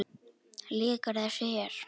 Lýkur þessu hér?